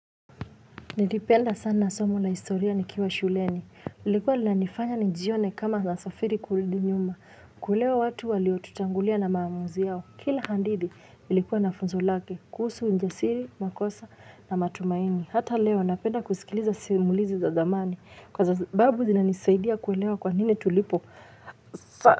Nilipenda sana somo na historia nikiwa shuleni, lilikuwa lilanifanya nijione kama nasafiri kurudi nyuma, kuelewa watu waliotutangulia na maamuzi yao, kila hadithi ilikuwa na funzo lake, kuhusu, ujasiri, makosa na matumaini. Hata leo napenda kusikiliza simulizi za dhamani, kwa sababu zinanisaidia kuelewa kwa nini tulipo, hafa.